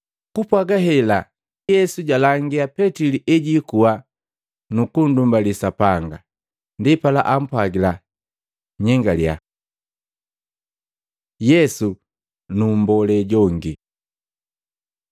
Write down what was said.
Kukupwaga hela, Yesu jalangia Petili ejikuwa nukundumbalii Sapanga. Ndipala ampwagila, “Nyengaliya.” Yesu nu mmbolee jongi